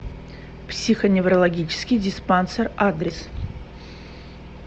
психоневрологический диспансер адрес